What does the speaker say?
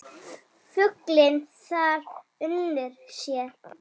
Fuglinn þar unir sér.